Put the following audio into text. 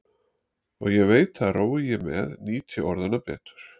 Og ég veit að rói ég með nýt ég orðanna betur.